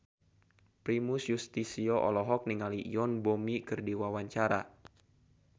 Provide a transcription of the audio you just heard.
Primus Yustisio olohok ningali Yoon Bomi keur diwawancara